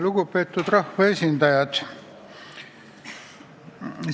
Lugupeetud rahvaesindajad!